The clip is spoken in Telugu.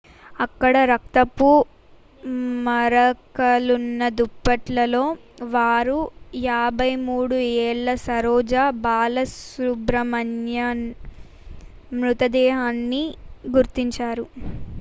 అక్కడ రక్తపు మరకలున్న దుప్పట్లలో వారు 53 ఏళ్ల సరోజ బాలసుబ్రమణియన్ మృతదేహాన్ని గుర్తించారు